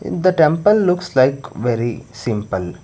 the temple looks like very simple